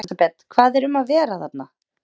Elísabet, hvað er um að vera þarna?